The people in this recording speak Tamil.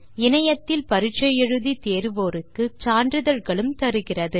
இணையத்தில் பரிட்சை எழுதி தேர்வோருக்கு சான்றிதழ்களும் தருகிறது